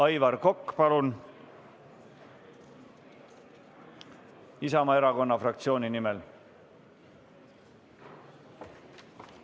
Aivar Kokk Isamaa Erakonna fraktsiooni nimel, palun!